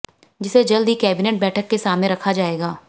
जिसे जल्द ही कैबिनेट बैठक के सामने रखा जाएगा